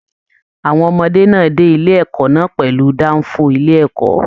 Àwọn ọmọdé náà dé ilé ẹ̀kọ́ náà pẹlu danfo ilé ẹ̀kọ́.